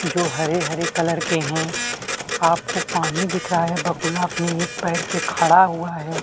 जो हरे - हरे कलर के है आपको पानी दिख रहा है बगुला अपने एक पैर पे खड़ा हुआ है।